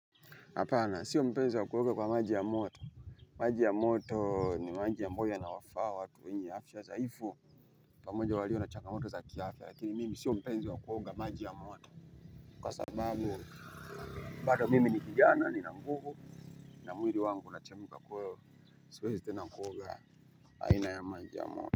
Apana, sio mpenzi wa kuonga kwa maji ya moto. Maji ya moto ni maji amboyo yanawafaa watu wenye afya dhaifu. Pamoja walio na changamoto za kiafya, lakini mimi sio mpenzi wa kuoga maji ya moto. Kwa sababu, bado mimi ni kijana, nina nguvu. Na mwili wangu unachemika kwaivo, siwezi tena kuoga, aina ya maji ya moto.